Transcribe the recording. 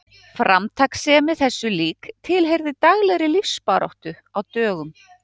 Framtakssemi þessu lík tilheyrði daglegri lífsbaráttu á dögum